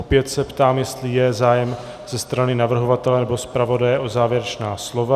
Opět se ptám, jestli je zájem ze strany navrhovatele nebo zpravodaje o závěrečná slova.